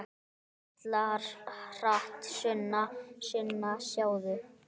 Hvíslar hratt: Sunna, Sunna, sjáðu!